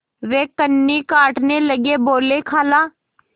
वे कन्नी काटने लगे बोलेखाला